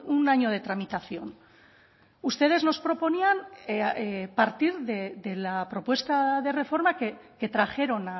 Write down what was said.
un año de tramitación ustedes nos proponían eh partir de la propuesta de reforma que trajeron